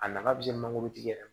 A nafa bɛ se mangoro tigi yɛrɛ ma